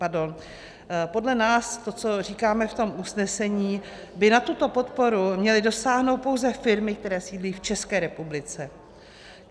Podle nás to, co říkáme v tom usnesení, by na tuto podporu měly dosáhnout pouze firmy, které sídlí v České republice.